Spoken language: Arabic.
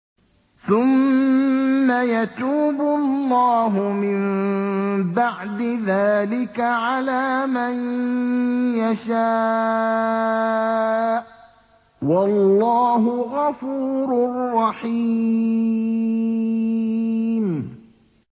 ثُمَّ يَتُوبُ اللَّهُ مِن بَعْدِ ذَٰلِكَ عَلَىٰ مَن يَشَاءُ ۗ وَاللَّهُ غَفُورٌ رَّحِيمٌ